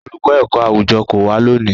Olùkọ́ ẹ̀kọ́-àwùjọ kò wá lónìí.